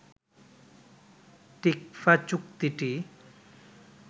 TICFA চুক্তিটি